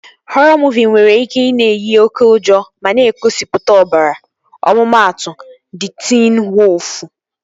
Họrọ muuvi nwere ike ị na-eyi oké ụjọ ma na-egosipụta ọbara. Ọmụmatụ, Di Tiin Woofu